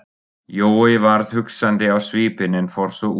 Jói varð hugsandi á svipinn en fór svo út.